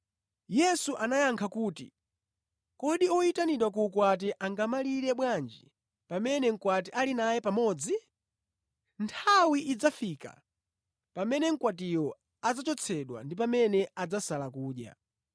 Yesu anayankha kuti, “Kodi oyitanidwa ku ukwati angamalire bwanji pamene mkwati ali naye pamodzi? Nthawi idzafika pamene mkwatiyo adzachotsedwa ndi pamene adzasala kudya.”